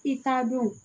I t'a dɔn